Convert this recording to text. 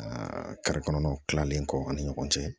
kɔnɔnaw kilalen kɔ ani ɲɔgɔn cɛ